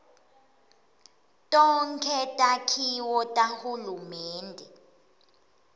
tonkhe takhiwo tahulumende